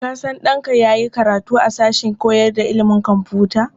Ka sanya ɗanka ya yi karatu a sashen koyar da ilimin kwamfuta.